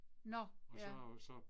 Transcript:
Nåh ja